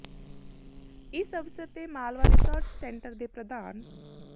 ਇਸ ਅਵਸਰ ਤੇ ਮਾਲਵਾ ਰਿਸਰਚ ਸੈਂਟਰ ਦੇ ਪ੍ਰਧਾਨ ਸ੍ਰ